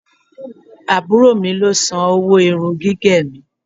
Àbúrò mi ló san owó irun gígẹ̀ mi.